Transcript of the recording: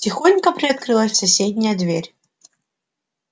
тихонько приоткрылась соседняя дверь